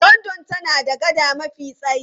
London tana da gada mafi tsayi.